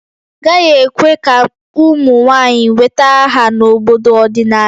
Agaghị ekwe ka ụmụ nwanyị nweta aha n'obodo ọdịnala